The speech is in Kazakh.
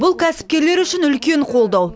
бұл кәсіпкерлер үшін үлкен қолдау